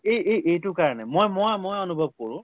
এই‍এই এইটো কাৰণে মইমই মই অনুভৱ কৰো